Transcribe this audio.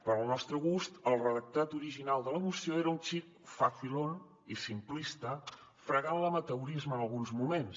per al nostre gust el redactat original de la moció era un xic facilón i simplista fregant l’amateurisme en alguns moments